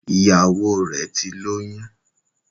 Ìyàwọ rè tí lóyún